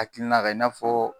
Hakilina kan i n'a fɔ